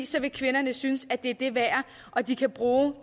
så ville kvinderne synes at det var det værd og de kunne bruge